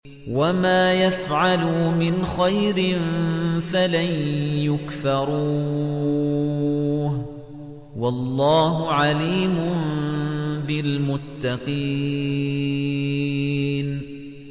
وَمَا يَفْعَلُوا مِنْ خَيْرٍ فَلَن يُكْفَرُوهُ ۗ وَاللَّهُ عَلِيمٌ بِالْمُتَّقِينَ